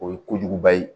O ye kojuguba ye